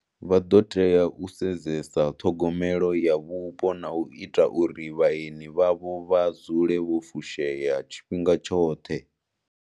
Vha ḓo tea u sedzesa ṱhogomelo ya vhupo na u ita uri vhaeni vhavho vha dzule vho fushea tshifhinga tshoṱhe.